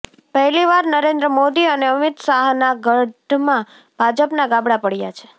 પહેલીવાર નરેન્દ્ર મોદી અને અમિત શાહના ગઢમાં ભાજપમાં ગાબડાં પડયા છે